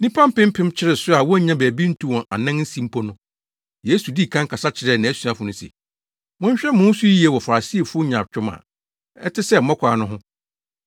Nnipa mpempem kyeree so a wonnya baabi ntu wɔn anan nsi mpo no, Yesu dii kan kasa kyerɛɛ nʼasuafo no se, “Monhwɛ mo ho so yiye wɔ Farisifo nyaatwom a ɛte sɛ mmɔkaw no ho.